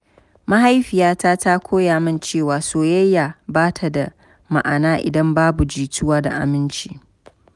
Mahaifiyata ta koya min cewa soyayya ba ta da ma’ana idan babu jituwa da aminci.